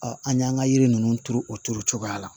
an y'an ka yiri ninnu turu o turu cogoya la